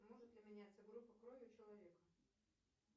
может ли меняться группа крови у человека